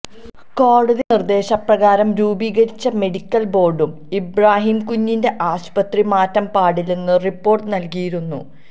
കോടതി നിര്ദേശ പ്രകാരം രൂപീകരിച്ച മെഡിക്കല് ബോര്ഡും ഇബ്രാഹിംകുഞ്ഞിന്റെ ആശുപത്രിമാറ്റം പാടില്ലെന്ന് റിപോര്ട് നല്കിയിരുന്നു